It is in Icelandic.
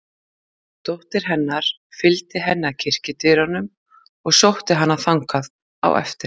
Dóttir hennar fylgdi henni að kirkjudyrunum og sótti hana þangað á eftir.